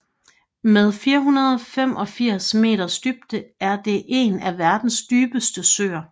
Med 485 meters dybde er det en af verdens dybeste søer